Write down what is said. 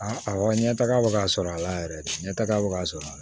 A awɔ ɲɛtaga bɛ ka sɔrɔ a la yɛrɛ ɲɛtaga bɛ ka sɔrɔ a la